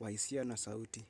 wahisia na sauti.